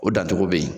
O dancogo bɛ yen